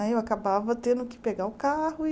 Aí eu acabava tendo que pegar o carro e...